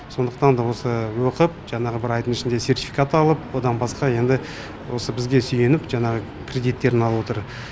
сондықтанда осы оқып жаңағы бір айдың ішінде сертификат алып одан басқа енді осы бізге сүйеніп жаңағы кредиттерін алып отыр